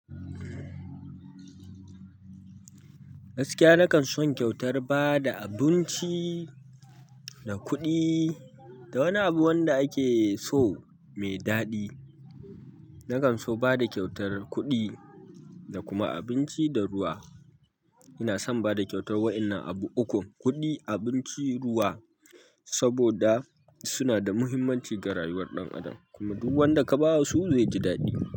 Gaskiya, na kan son kyautar ba da abinci da kuɗi da wani abu wanda ake so mai daɗi. Na kan so bada kyautar kuɗi da kuma abinci da ruwa. Ina son bada kyautar wa'inan abu ukun, kuɗi, abinci, ruwa saboda suna da muhimmanci ga rayuwar ɗan adam kuma duk wanda kabawa su zai ji daɗi.